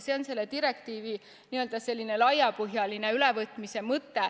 See on selle direktiivi selline laiapõhjaline ülevõtmise mõte.